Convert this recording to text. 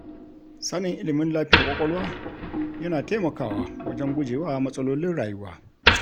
Sanin ilmin lafiyar ƙwaƙwalwa yana taimakawa wajen gujewa matsalolin rayuwa.